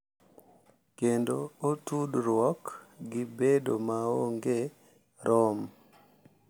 Kendo otudruok gi bedo maonge rom